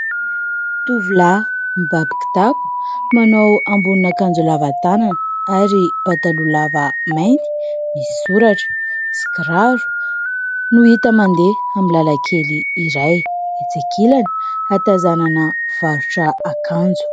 Tovolahy mibaby kitapo, manao ambonina akanjo lava tanana ary pataloha lava mainty misy soratra sy kiraro no hita mandeha amin'ny lalakely iray. Etsy ankilany, ahatazanana mpivarotra akanjo.